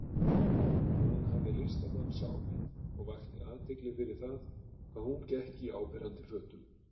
Hún hafði listamannssál og vakti athygli fyrir það hvað hún gekk í áberandi fötum.